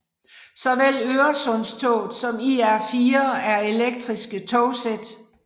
Såvel Øresundstoget som IR4 er elektriske togsæt